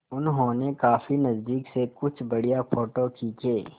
उन्होंने काफी नज़दीक से कुछ बढ़िया फ़ोटो खींचे